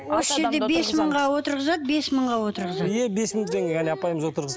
осы жерде бес мыңға отырғызады бес мыңға отырғызады иә бес мың теңге әне апайымыз отырғыз